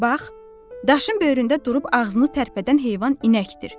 Bax, daşın böyründə durub ağzını tərpədən heyvan inəkdir.